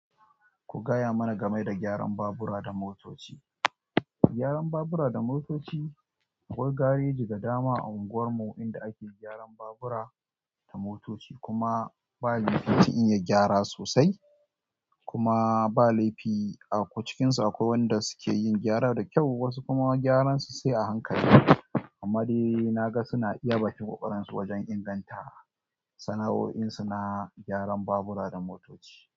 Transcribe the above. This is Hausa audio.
Ku gaya mana game da gyaran babura da motoci. Gyaran babura da motoci akwai gareji da dama a unguwar mu inda ake gyaran babura da motoci kuma ba laifi in yi gyara sosai kuma ba laifi a cikinsu akwai wanda suke yin gyara da kyau wasu kuma gyaran su sai a hankali. Amma dai na ga suna iya bakin ƙoƙarin su wajen inganta sana'o'insu na gyaran babura da motoci.